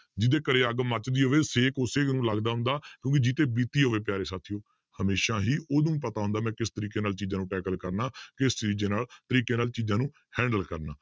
ਜਿਹਦੇ ਘਰੇ ਅੱਗ ਮੱਚਦੀ ਹੋਵੇ ਛੇਕ ਉਸੇ ਨੂੰ ਲੱਗਦਾ ਹੁੰਦਾ ਕਿਉਂਕਿ ਜਿਹਦੇ ਤੇ ਬੀਤੀ ਹੋਵੇ ਪਿਆਰੇ ਸਾਥੀਓ ਹਮੇਸ਼ਾ ਹੀ ਉਹਨੂੰ ਪਤਾ ਹੁੰਦਾ ਮੈਂ ਕਿਸ ਤਰੀਕੇ ਨਾਲ ਚੀਜ਼ਾਂ ਨੂੰ ਕਰਨਾ ਕਿਸ ਨਾਲ ਤਰੀਕੇ ਨਾਲ ਚੀਜ਼ਾਂ ਨੂੰ handle ਕਰਨਾ